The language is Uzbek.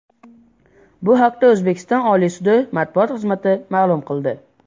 Bu haqda O‘zbekiston Oliy sudi matbuot xizmati ma’lum qildi .